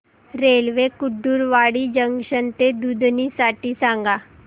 railway Kurduwadi junction ते दुधनी साठी सांगा